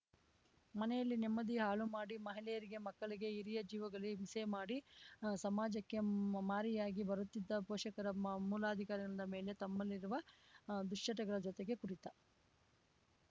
ಮನೆಯಲ್ಲಿ ನೆಮ್ಮದಿ ಹಾಳು ಮಾಡಿ ಮಹಿಳೆಯರಿಗೆ ಮಕ್ಕಳಿಗೆ ಹಿರಿಯ ಜೀವಗಳಿಗೆ ಹಿಂಸೆ ಮಾಡಿ ಸಮಾಜಕ್ಕೆ ಮಾರಿಯಾಗಿ ಬರುತ್ತಿದ್ದ ಪೋಷಕರ ಮೂಲಾಧಾರಿಗಳಾದ ಮೇಲೆ ತಮ್ಮಲ್ಲಿರುವ ದುಶ್ಚಟಗಳ ಜೊತೆಗೆ ಕುಡಿತ